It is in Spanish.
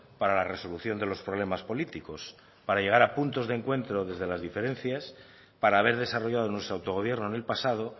para la resolución de los problemas políticos para llegar a puntos de encuentro desde las diferencias para haber desarrollado nuestro autogobierno en el pasado